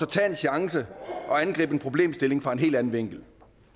tage en chance og angribe en problemstilling fra en helt anden vinkel